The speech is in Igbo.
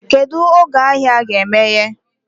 Kedụ oge ahịa ga emeye?